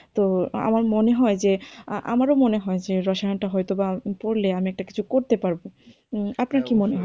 তো আমার মনে হয় যে আমারও মনে হয় যে রসায়নটা হয়তো বা পড়লে আমি একটা কিছু করতে পারবো। আপনি কি মনে,